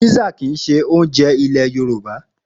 Písà kìí ṣe oúnjẹ ilé Yorùbá.